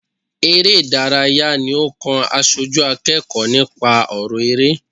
Eré ìdárayá ní ó kàn aṣojú akẹ́kọ̀ọ́ nípa ọrọ eré.